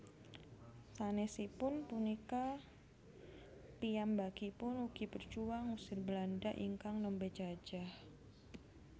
Sanesipun punika piyambakipun ugi berjuang ngusir Belanda ingkang nembe jajah